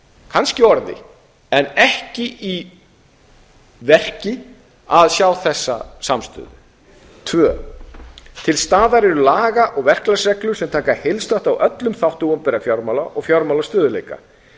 kannski í orði en ekki í verki að sjá þessa samstöðu öðrum til staða eru laga og verklagsreglur sem taka heildstætt á öllum þáttum opinberra fjármála og fjármálastöðugleika